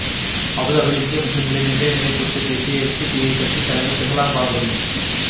அபுதாபியில் இந்திய முஸ்லிம்களின் இன்றைய நிலை குறித்து பேசிய எஸ்டிபிஐ கட்சி தலைவர் தெஹ்லான் பாகவி